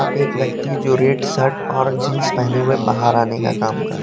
एक व्यक्ति है जो रेट सर्ट और जींस पहने हुए बाहर आने का काम कर--